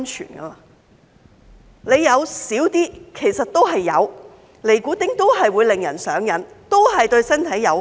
即使含量較少，其實都是有，尼古丁都是會令人上癮，都是對身體有害。